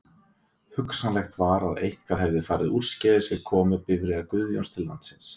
Hugsanlegt var að eitthvað hefði farið úrskeiðis við komu bifreiðar Guðjóns til landsins.